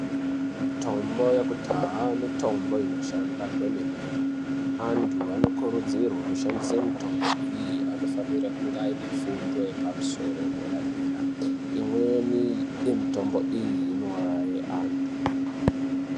Mutombo yekudhaya mutombo inoshanda kwemene antu anokurudzirwe kushandise mutombo iyi anofanire kunge aine fundo yepamusoro edera dera imweni yemutombo iyi inouraye antu.